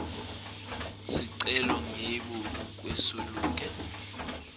sicelo ngembi kwelusuku